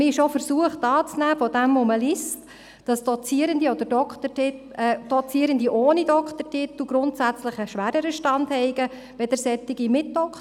Man ist auch aufgrund dessen, was man liest, anzunehmen versucht, dass Dozierende ohne Doktortitel grundsätzlich einen schwereren Stand hätten als solche mit Doktortitel.